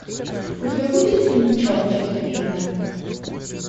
у тебя будет фильм че часть первая